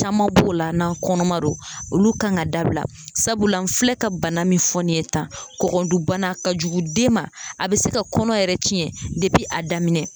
Caman b'o la n'an kɔnɔma don olu kan ka dabila sabula n filɛ ka bana min fɔ nin ye tan kɔkɔdunbana ka jugu den ma a be se ka kɔnɔ yɛrɛ cɛn depi a daminɛ